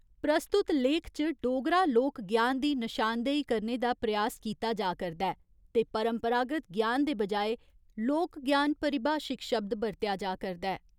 प्रस्तुत लेख च डोगरा लोक ज्ञान दी नशानदेही करने दा प्रयास कीता जा करदा ऐ ते 'परंपरागत ज्ञान' दे बजाए 'लोक ज्ञान' परिभाशिक शब्द बरतेआ जा करदा ऐ।